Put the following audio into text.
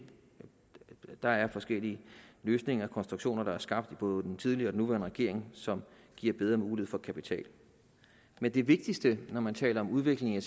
der er forskellige løsninger og konstruktioner der er blevet skabt af både den tidligere og den nuværende regering som giver bedre mulighed for kapital men det vigtigste når man taler om udvikling af